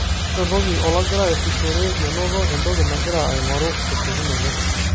Keretoki ologira aasishore menoto entoki nagira aing'oru tesiokinoto.